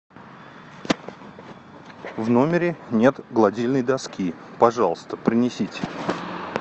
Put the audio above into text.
в номере нет гладильной доски пожалуйста принесите